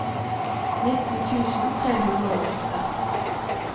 nitten tusen tre hundre og åtte